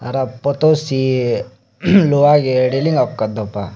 photo seh luwah reling aku do pah.